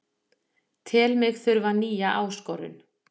Tel mig þurfa nýja áskorun